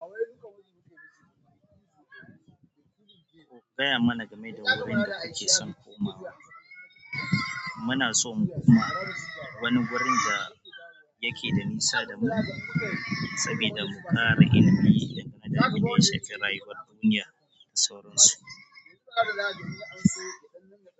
Gaya mana game da wurin da kuke son kuma. Muna so mu kuma wani wurin da yake da nisa da mu saboda mu ƙara ilimi dangane da abun da ya shafi rayuwan duniya da sauransu.